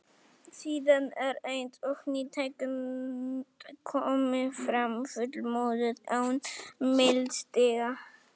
Síðan er eins og ný tegund komi fram, fullmótuð, án millistiga.